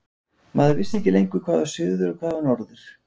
Maður vissi ekki lengur hvað var suður og hvað var norður.